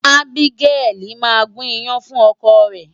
Abigail máa gún iyán fún ọkọ rẹ̀.